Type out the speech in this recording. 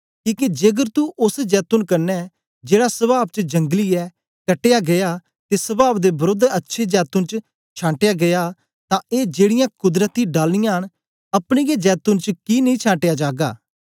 किके जेकर तू ओस जैतून कन्ने जेड़ा स्वाव च जंगली ऐ कटया गीया ते स्वाव दे वरोध अच्छे जैतून च छांटया गीया तां ए जेड़ीयां कुदरती डालियाँ न अपने गै जैतून च कि नेई छांटया जागा